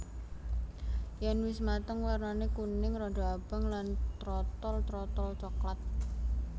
Yèn wis mateng wernané kuning rada abang lan trotol terotol coklat